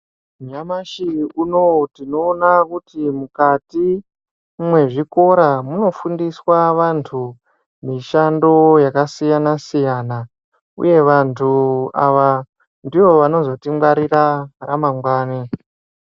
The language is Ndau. Nyamashi unou tinoona kuti mukati mwezvikora munofundiswa vantu mishando yakasiyana siyana uye vantu ava ndivo vanozotingwarira ramangwani.